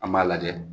An b'a lajɛ